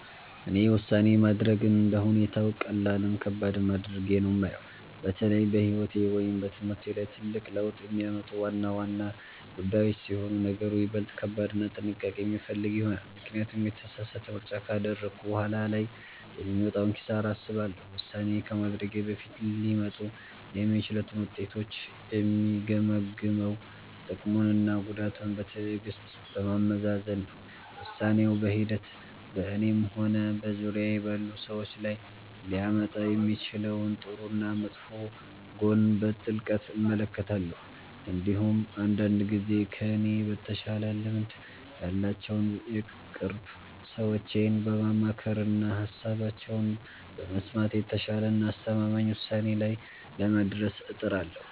እኔ ውሳኔ ማድረግን እንደ ሁኔታው ቀላልም ከባድም አድርጌ ነው የማየው። በተለይ በሕይወቴ ወይም በትምህርቴ ላይ ትልቅ ለውጥ የሚያመጡ ዋና ዋና ጉዳዮች ሲሆኑ ነገሩ ይበልጥ ከባድና ጥንቃቄ የሚፈልግ ይሆናል፤ ምክንያቱም የተሳሳተ ምርጫ ካደረግኩ በኋላ ላይ የሚመጣውን ኪሳራ አስባለሁ። ውሳኔ ከማድረጌ በፊት ሊመጡ የሚችሉትን ውጤቶች የምገመግመው ጥቅሙንና ጉዳቱን በትዕግሥት በማመዛዘን ነው። ውሳኔው በሂደት በእኔም ሆነ በዙሪያዬ ባሉ ሰዎች ላይ ሊያመጣ የሚችለውን ጥሩና መጥፎ ጎን በጥልቀት እመለከታለሁ። እንዲሁም አንዳንድ ጊዜ ከእኔ በተሻለ ልምድ ያላቸውን የቅርብ ሰዎቼን በማማከርና ሃሳባቸውን በመስማት የተሻለና አስተማማኝ ውሳኔ ላይ ለመድረስ እጥራለሁ።